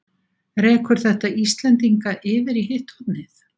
Rekur þetta Íslendinga yfir í hitt hornið?